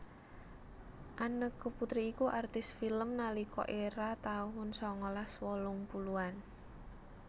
Anneke Putri iku artis film nalika era taun sangalas wolung puluhan